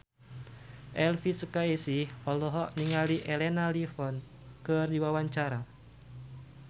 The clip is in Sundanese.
Elvi Sukaesih olohok ningali Elena Levon keur diwawancara